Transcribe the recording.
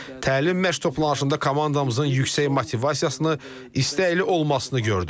Təlim məşq toplanışında komandamızın yüksək motivasiyasını, istəkli olmasını gördüm.